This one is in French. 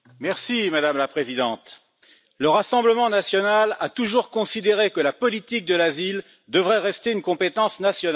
Madame la Présidente, le Rassemblement national a toujours considéré que la politique d'asile devrait rester une compétence nationale.